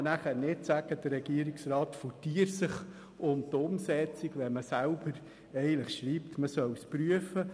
Man kann anschliessend nicht sagen, der Regierungsrat drücke sich vor der Umsetzung, wenn man selber schreibt, es soll geprüft werden.